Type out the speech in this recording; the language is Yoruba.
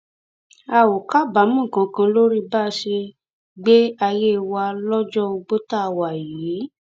a ò kábàámọ kankan lórí bá a ṣe gbé ayé wa lọjọ ogbó tá a wà yìí